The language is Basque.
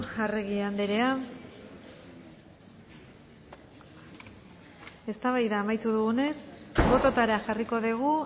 arregi andrea eztabaida amaitu dugunez bototara jarriko dugu